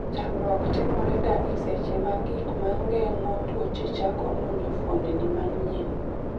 tamruok timore ga e seche ma gig mageng'o tuoche chako monjo fuondni manyien